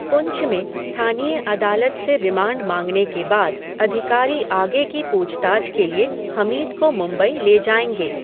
पुंछ में स्थानीय अदालत से रिमांड माँगने के बाद, अधिकारी आगे की पूछताछ के लिए हमीद को मुंबई ले जाएँगे।